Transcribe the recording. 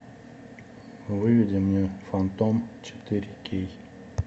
выведи мне фантом четыре кей